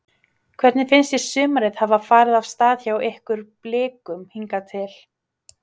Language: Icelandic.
Hvernig finnst þér sumarið hafa farið af stað hjá ykkur Blikum hingað til?